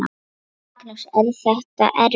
Magnús: Er þetta erfitt?